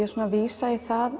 er svona að vísa í það